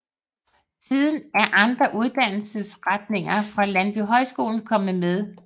Siden er andre uddannelsesretninger fra Landbohøjskolen kommet med